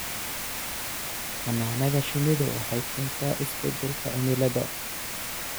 Xannaanada shinnidu waxay keentaa isbeddelka cimilada.